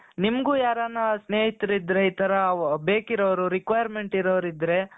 ನಿಮ್ಗೂ ಯಾರಾನ ಸ್ನೇಹಿತರು ಇದ್ದರೆ ಈ ತರ ಬೇಕಿರೋರು requirement ಇರೋರು ಇದ್ದರೆ